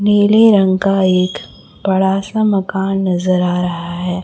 नीले रंग का एक बड़ा सा मकान नजर आ रहा है।